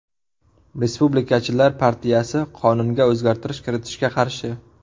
Respublikachilar partiyasi qonunga o‘zgartirish kiritishga qarshi.